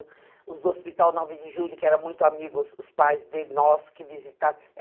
Os do Hospital Nove de Julho, que eram muito amigos, os pais de nós que visita